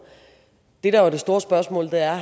det der jo er det store spørgsmål er